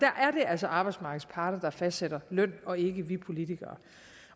altså arbejdsmarkedets parter der fastsætter løn og ikke vi politikere